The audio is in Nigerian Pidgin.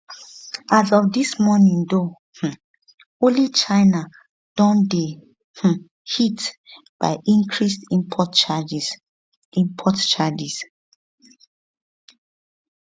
as of dis morning though um only china don dey um hit by increased import charges import charges